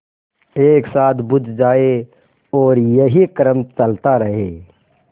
एक साथ बुझ जाएँ और यही क्रम चलता रहे